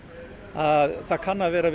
að það kann að vera